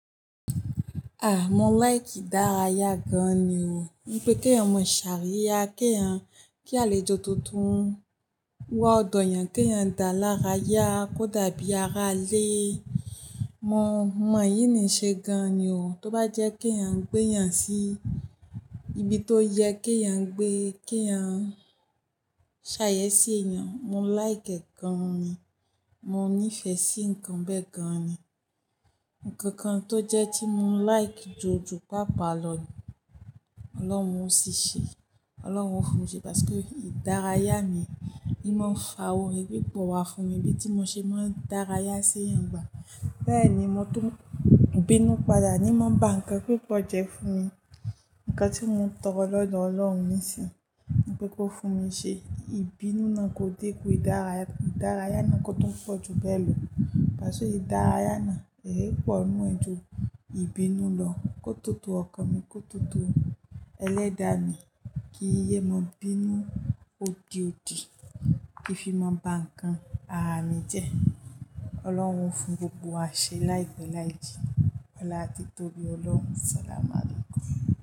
Ah, mo like ìdárayá gan ni o. Wípé kí ẹ̀yan ma ṣàríya, kí ẹ̀yan kí alèjọ tuntun. Wá ọ̀dọ̀ ẹ̀yan, kí ẹ̀yan dá lára yá kó dàbí ara lé. Mo, mo èyí ní ṣe gan ni o. Tó bá jẹ́ kí ẹ̀yan gbé ẹ̀yan sí ibi tó yẹ, kí ẹ̀yan gbé, kí ẹ̀yan ṣàyèsí èèyàn. Mo like ẹ gan ni. Mo nífẹ̀ẹ́ sí ǹkan bẹ́ẹ̀ gan ni. Ǹkan kan tó jẹ́ tí mo like jù jù pa pálọ̀ ni Ọlọ́run ó ṣiṣẹ́, Ọlọ́run ó fún mi ṣe, pàtì pé ìdárayá mi ni mọ́ n fa oore, bíbò wá fún mi bí tí mọ ṣe máa ń dárayá sí ẹ̀yan gbà. Bẹ́ẹ̀ ni mo tún bínú padà ni mo ń bá ǹkan púpọ̀ jẹ́ fún mi. Ǹkan tí mo ń tọrọ lọ́dọ̀ Ọlọ́run nísìnyí, wípé kó fún mi ṣe, ìbínú náà kò dẹ́kun ìdárayá, ìdárayá náà kò tún pọ̀ jù bẹ́ẹ̀ lọ. Pasu ìdárayá náà, ẹ́ yí pọ̀ nínú ẹ̀ jù ìbínú lọ. Kó tó tó ọkàn mi, kó tó tó ẹlẹ́dàá mi, kí yé mọ bí inú ódi odi, kí fi máa bá ǹkan ara mi jẹ́. Ọlọ́run fún gbogbo wa ṣe láìpẹ́ láìjìnà ọlá ti Tobi Ọlọ́run. Salamu alaykum.